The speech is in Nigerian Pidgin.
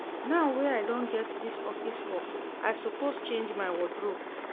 Now wey I don get dis office work I suppose change my wardrobe